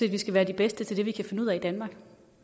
at vi skal være de bedste til det vi kan finde ud af i danmark